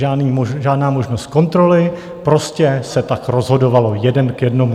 Žádná možnost kontroly, prostě se tak rozhodovalo, jeden k jednomu.